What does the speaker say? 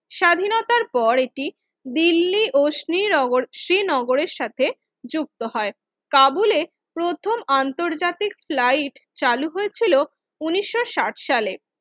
স্বাধীনতার পর এটি দিল্লি অসমী নগর শ্রীনগরের সাথে যুক্ত হয় কাবুলের প্রথম আন্তর্জাতিক ফ্লাইট চালু হয়েছিল উনিশশো ষাট সালে